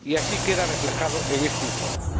Y así queda reflejado en este informe.